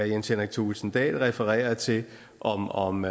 jens henrik thulesen dahl refererede til om om